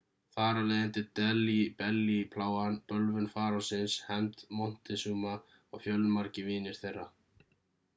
þar af leiðandi delhi belly plágan bölvun farósins hefnd montezuma og fjölmargir vinir þeirra